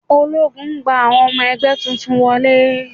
Ológun gba àwọn ọmọ ẹgbẹ́ tuntun wọlé.